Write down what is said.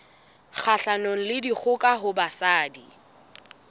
kgahlanong le dikgoka ho basadi